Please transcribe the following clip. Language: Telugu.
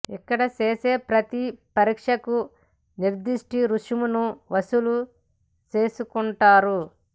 ఇక్కడ చేసే ప్రతి పరీక్షకు నిర్దిష్ట రుసుమును వసూలు చేస్తుంటారు